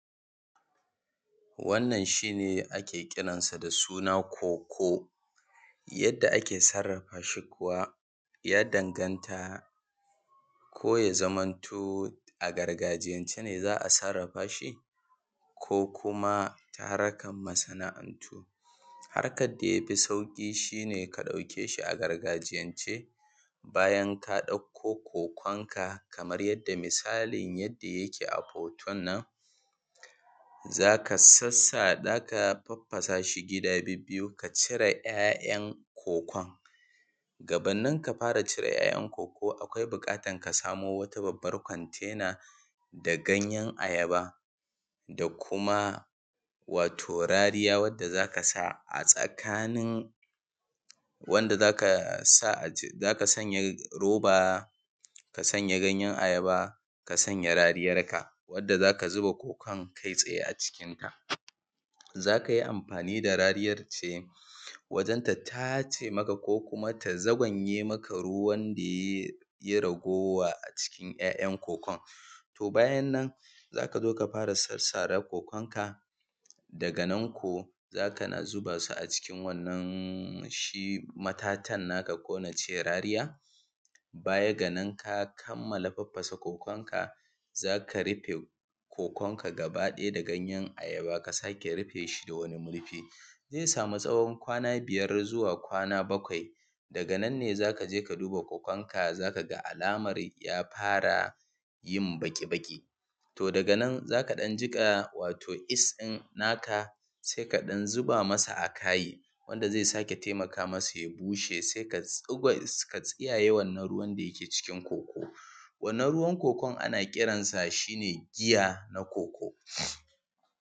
Wannan shine ake kiran shi da suna koko yadda ake sarrafa shi kuwa ya danganta ko ya zamanto a gargajiyance ne za a sarrafa shi, ko kuma ta harkan masana'antu. Harkan dai bi sauƙi shi ne ka ɗauke shi gargajiyan ce. Bayan ka ɗauko kokon ka kamar yadda misalin yadda yake a hoton nan, za ka farfasa shi gida bibbiyu, ka cire ‘ya'yan kokon. Gabanin ka fara cire ‘ya'yan koko akwai buƙatar ka samo wata babbar kwantaina da ganyan ayaba da kuma wato rariya wanda zaka sa a tsakanin wanda za ka sanya roba ka sanya ganyan ayaba, ka sanya rariyar ka wanda za ka zuba kokon kai tsaye a cikinta. Za ka yi amfani da rariyar ce wajen ta tace mata ko kuma ta za gwanye maka ruwan da ya yi ragowa a cikin ‘ya' yan kokon. To bayan nan za ka zo ka fara sassara kokon ka, daga nan ko za ka na zuba su a cikin wannan shi matatan na ka ko na ce rariya. Baya ga nan ka kammala farfasa kokonka za ka rufe kokon ka gaba ɗaya da ganyen ayaba a sake rufe shi da wani murfi. Zai sama kamar tsawon kwana biyar zuwa kwana bakwai daga nan ne za ka je ka duba kokon ka z aka ga alamar ya fara yin baƙi baƙi. To daga nan za ka ɗan jika yeast na ka sai ka ɗan zuba masa a kai, wanda zai ƙara taimaka ma sa ya bushe, sai ka tsiyayye wannan ruwan da ya ke cikin koko wannan ruwar kokon ana kiransa shine giya na koko.